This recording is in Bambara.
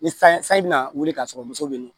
Ni san sanji bina wuli ka sɔrɔ muso be yen